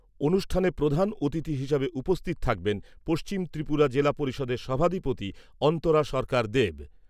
অনুষ্ঠানে প্রধান অতিথি হিসেবে উপস্থিত থাকবেন পশ্চিম ত্রিপুরা জিলা পরিষদের সভাধিপতি অন্তরা সরকার দেব।